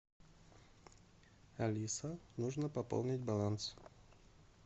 алиса нужно пополнить баланс